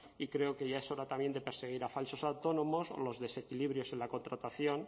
y creo que ya es hora también de perseguir a falsos autónomos o los desequilibrios en la contratación